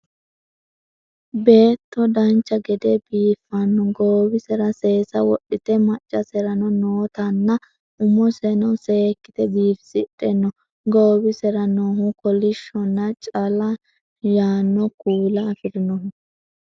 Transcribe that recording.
beetto dancha gede biifanno goowira seesa wodhite maccaserano nootanna umoseno seekkite biifisidhe no goowisire noohu kolishshonna cala yaanno kuula afirinoho